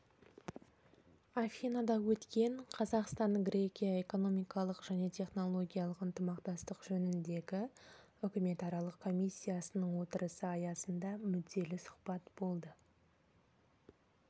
афинада өткен қазақстан-грекия экономикалық және технологиялық ынтымақтастық жөніндегі үкіметаралық комиссиясының отырысы аясында мүдделі сұхбат болды